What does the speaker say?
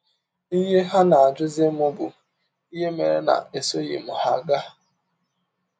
Ihe ha na - ajụzi m bụ ihe mere na esọghị m ha gaa.